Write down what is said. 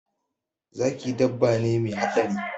Zaki dabba ne me haɗari